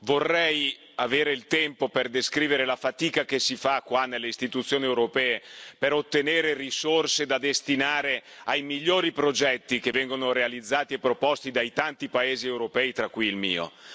Vorrei avere il tempo per descrivere la fatica che si fa qua nelle Istituzioni europee per ottenere risorse da destinare ai migliori progetti che vengono realizzati e proposti dai tanti paesi europei, tra cui il mio.